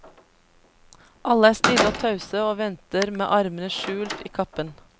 Alle er stille og tause og venter med armene skjult i kappen.